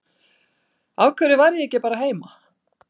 Af hverju var ég ekki bara heima?